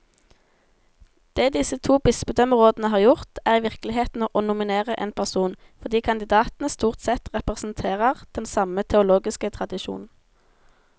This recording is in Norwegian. Det disse to bispedømmerådene har gjort, er i virkeligheten å nominere én person, fordi kandidatene stort sett representerer den samme teologiske tradisjon.